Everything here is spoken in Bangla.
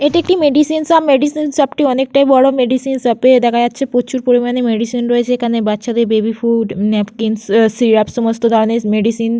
এটি একটি মেডিসিন শপ মেডিসিন শপ টি অনেকটাই বড় মেডিসিন শপে ও দেখা যাচ্ছে প্রচুর পরিমানে মেডিসিন রয়েছে। এখানে বাচ্চাদের বেবি ফুড । ন্যাপকিন আহ সিরাপ সমস্ত ধরনের মেডিসিনস --